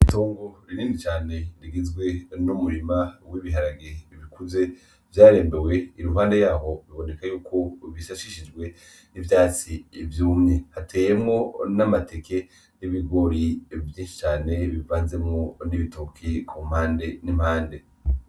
Itongo ririndi cane rigizwe niumurima w'ibiharage ibikuze vyarembewe i ruhande yaho biboneka yuko ubishashishijwe n'ivyatsi ivyoumwe hateyemwo n'amateke n'ibigori vyinsicane bivanzemwo n'ibitoki komande n'impande.